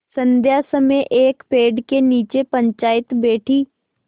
संध्या समय एक पेड़ के नीचे पंचायत बैठी